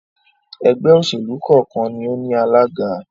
ẹgbẹ́-òsèlú kọ́ọ̀kan ni ó ní alága.